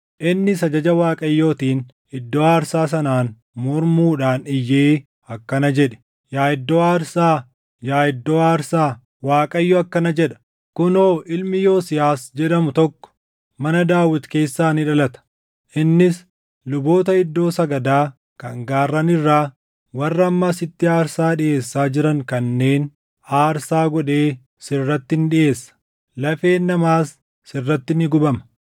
Innis ajaja Waaqayyootiin iddoo aarsaa sanaan mormuudhaan iyyee akkana jedhe; “Yaa iddoo aarsaa, yaa iddoo aarsaa! Waaqayyo akkana jedha; ‘Kunoo ilmi Yosiyaas jedhamu tokko mana Daawit keessaa ni dhalata. Innis luboota iddoo sagadaa kan gaarran irraa warra amma asitti aarsaa dhiʼeessaa jiran kanneen aarsaa godhee sirratti ni dhiʼeessa; lafeen namaas sirratti ni gubama.’ ”